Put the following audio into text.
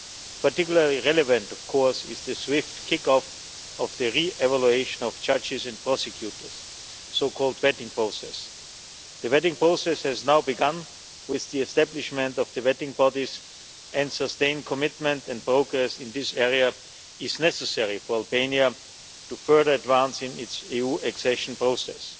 Particularly relevant, of course, is the swift kick off of the re evaluation of judges and prosecutors, the so called vetting process. The vetting process has now begun, with the establishment of the vetting bodies, and sustained commitment and focus in this area is necessary for Albania to further advance in its EU accession process.